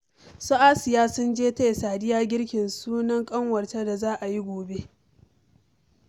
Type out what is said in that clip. Su Asiya sun je taya Sadiya girkin sunan ƙanwarta da za a yi gobe